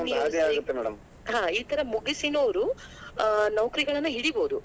ಹಾ ಈ ಥರ ಮುಗಿಸಿನೂ ಅವ್ರು ಅ ನೌಕರಿಗಳನ್ನ ಹಿಡಿಬೋದು.